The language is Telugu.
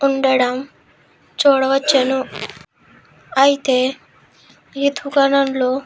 ఉండడం చూడవచ్చును. అయితే ఈ దుకాణంలో--